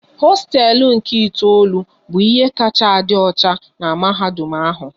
Hosteelu nke itoolu bụ ihe kacha a dị ọcha n'mahadum ahụ